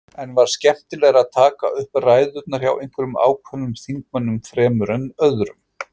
En var skemmtilegra að taka upp ræðurnar hjá einhverjum ákveðnum þingmönnum fremur en öðrum?